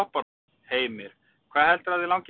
Heimir: Hvað heldurðu að þig langi mest í?